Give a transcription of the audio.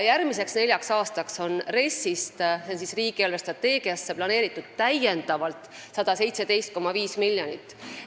Järgmiseks neljaks aastaks on riigi eelarvestrateegiasse ehk RES-i täiendavalt planeeritud 117,5 miljonit.